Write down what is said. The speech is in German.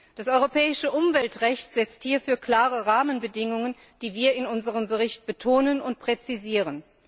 Das europäische Umweltrecht setzt hierfür klare Rahmenbedingungen, die wir in unserem Bericht betonen und präzisieren.